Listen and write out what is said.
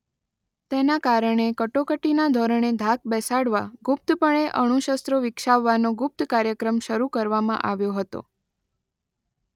તેના કારણે કટોકટીના ધોરણે ધાક બેસાડવા ગુપ્તપણે અણુશસ્ત્રો વિકસાવવાનો ગુપ્ત કાર્યક્રમ શરૂ કરવામાં આવ્યો હતો.